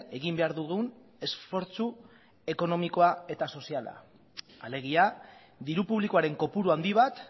egin behar dugun esfortzu ekonomikoa eta soziala alegia diru publikoaren kopuru handi bat